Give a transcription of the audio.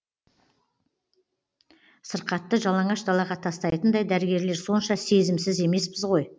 сырқатты жалаңаш далаға тастайтындай дәрігерлер сонша сезімсіз емеспіз ғой